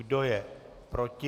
Kdo je proti?